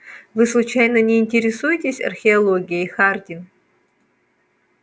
вы случайно не интересуетесь археологией хардин